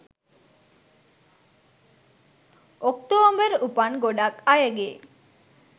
ඔක්තෝම්බර් උපන් ගොඩක් අයගේ